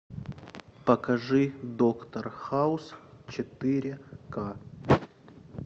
покажи доктор хаус четыре ка